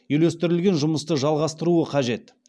үйлестірілген жұмысты жалғастыруы қажет